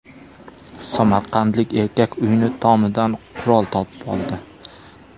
Samarqandlik erkak uyining tomidan qurol topib oldi.